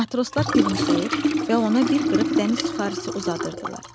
Matroslar gülümsəyir və ona bir qırıq dəniz suxarisi uzadırdılar.